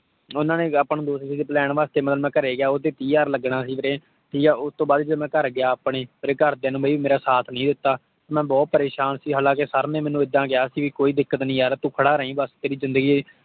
ਉਹਨਾਂ ਨੇ ਆਪਾਂ ਨੂੰ ਦੋ cc plan ਵਾਸਤੇ ਮਤਲਬ ਮੈਂ ਘਰੇ ਗਿਆ ਸੀ ਵੀਰੇ। ਉਹ ਤੇ ਤੀਹ ਹਜ਼ਾਰ ਲਗਣਾ ਸੀ ਵੀਰੇ। ਠੀਕ ਆ, ਓਸ੍ਤੋੰ ਬਾਅਦ ਜਦੋਂ ਮੈਂ ਘਰ ਗਿਆ ਆਪਣੇ ਮੇਰੇ ਘਰ ਦਿਆਂ ਨੇ ਮੇਰਾ ਸਾਥ ਨਹੀਂ ਦਿਤਾ। ਮੈਂ ਬਹੁਤ ਪਰੇਸ਼ਾਨ ਸੀ। ਹਾਲਾਂਕੀ sir ਨੇ ਮੈਨੂੰ ਇੱਦਾਂ ਕਿਹਾ ਸੀ ਭੀ ਕੋਈ ਦਿੱਕਤ ਨਹੀਂ ਯਾਰ ਬਸ ਤੂੰ ਖੜਾ ਰਹੀ ਬਸ ਤੇਰੀ ਜਿੰਦਗੀ